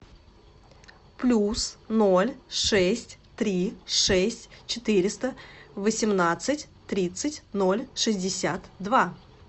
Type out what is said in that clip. плюс ноль шесть три шесть четыреста восемнадцать тридцать ноль шестьдесят два